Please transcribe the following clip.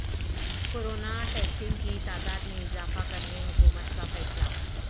corona testing کی تعداد میں اضافہ کرنے حکومت کا فیصلہ